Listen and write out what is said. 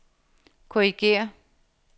korrigér